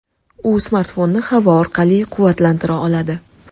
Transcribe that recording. U smartfonni havo orqali quvvatlantira oladi.